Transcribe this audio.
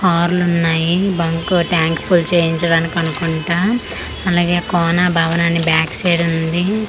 కార్లు ఉన్నాయి bunk tank full చేయించడానికి అనుకుంట అలాగే కోనా భవన్ అని బ్యాక్ సైడ్ ఉంది .